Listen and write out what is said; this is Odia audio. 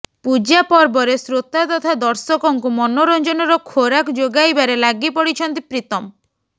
ପୂଜା ପର୍ବରେ ଶ୍ରୋତା ତଥା ଦର୍ଶକଙ୍କୁ ମନୋରଞ୍ଜନର ଖୋରାକ ଯୋଗାଇବାରେ ଲାଗିପଡିଛନ୍ତି ପ୍ରିତମ